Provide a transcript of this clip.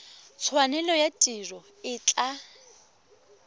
tshwanelo ya tiro e tla